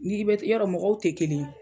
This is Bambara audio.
N'i bɛɛ yɔrɔ mɔgɔw te kelen ye